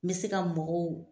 N bɛ se ka mɔgɔw